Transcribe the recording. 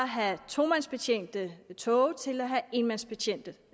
have tomandsbetjente toge til at have enmandsbetjente